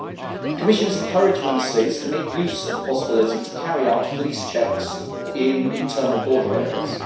The Commission has encouraged Member States to make use of the possibility of carrying out police checks in internal border areas.